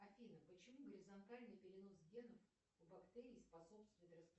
афина почему горизонтальный перенос генов у бактерий способствует